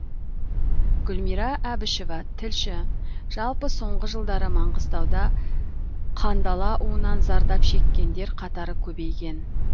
гүлмира әбішева тілші жалпы соңғы жылдары маңғыстауда қандала уынан зардап шеккендер қатары көбейген